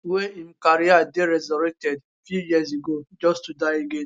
wey im career dey resurrected few years ago just to die again